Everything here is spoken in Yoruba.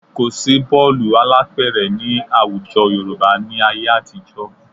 Kò sí bọ́ọ̀lù alápẹ̀rẹ̀ ní àwùjọ Yorùbá ní ayé àtijọ́